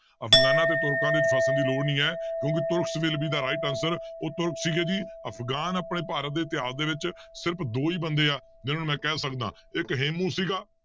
ਅਫਗਾਨਾਂ ਤੇ ਤੁਰਕਾਂ ਵਿੱਚ ਫਸਣ ਦੀ ਲੋੜ ਨੀ ਹੈ ਕਿਉਂਕਿ Turks will be the right answer ਉਹ ਤੁਰਕ ਸੀਗੇ ਜੀ ਅਫਗਾਨ ਆਪਣੇ ਭਾਰਤ ਦੇ ਇਤਿਹਾਸ ਦੇ ਵਿੱਚ ਸਿਰਫ਼ ਦੋ ਹੀ ਬੰਦੇ ਆ, ਜਿਹਨੂੰ ਮੈਂ ਕਹਿ ਸਕਦਾ ਇੱਕ ਹੇਮੂੰ ਸੀਗਾ